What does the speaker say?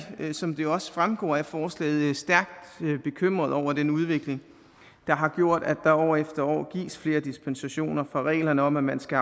som det også fremgår af forslaget stærkt bekymret over den udvikling der har gjort at der år efter år gives flere dispensationer fra reglerne om at man skal